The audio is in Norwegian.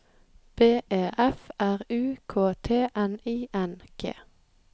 B E F R U K T N I N G